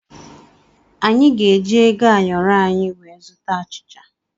Anyị ga-eji ego ayọrọ anyị wee zụta achịcha.